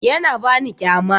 Yana ba ni kyama.